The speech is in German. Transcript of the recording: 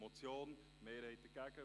Motion: Mehrheit dagegen.